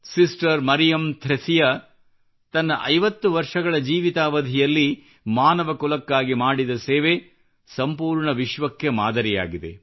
sister Mariam Thresia ತನ್ನ 50 ವರ್ಷಗಳ ಜೀವಿತಾವಧಿಯಲ್ಲಿ ಮಾನವ ಕುಲಕ್ಕಾಗಿ ಮಾಡಿದ ಸೇವೆ ಸಂಪೂರ್ಣ ವಿಶ್ವಕ್ಕೆ ಮಾದರಿಯಾಗಿದೆ